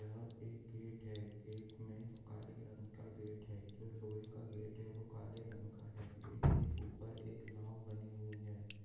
यह एक गेट है गेट में काले रंग का गेट है जो लोहे का गेट है वो काले रंग का है गेट के ऊपर एक नाव बनी हुई हैं।